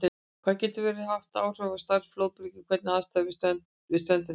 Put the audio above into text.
Það getur svo haft áhrif á stærð flóðbylgjunnar hvernig aðstæður við ströndina eru.